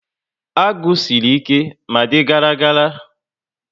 Agụ siri ike ma dị gara gara